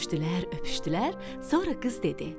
Görüşdülər, öpüşdülər, sonra qız dedi: